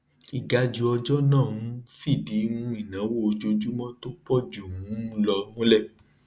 ìgajù ọjọ náà um fìdí um ìnáwó ojoojúmọ tó pọ jù um lọ múlẹ